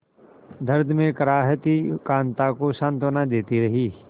दर्द में कराहती कांता को सांत्वना देती रही